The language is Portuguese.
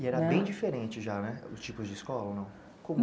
E era bem diferente já, né? Os tipos de escola, ou não?